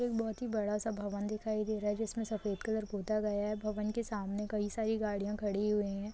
एक बहुत ही बड़ा सा भवन दिखाई दे रहा है जिसमें सफेद कलर पोता गया है भवन के सामने कई सारी गाड़ियां खड़ी हुई है।